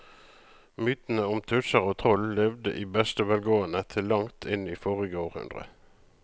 Mytene om tusser og troll levde i beste velgående til langt inn i forrige århundre.